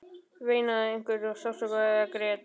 Veinaði einhver af sársauka eða grét?